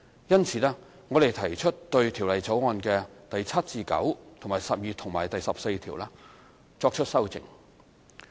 因此，我們提出對《條例草案》第7至9、12及14條作出修正。